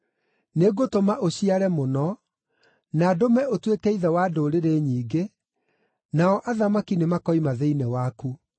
Nĩngũtũma ũciare mũno; na ndũme ũtuĩke ithe wa ndũrĩrĩ nyingĩ, nao athamaki nĩmakoima thĩinĩ waku.